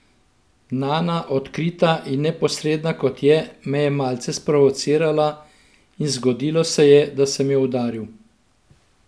Nana, odkrita in neposredna kot je, me je malce sprovocirala in zgodilo se je, da sem jo udaril.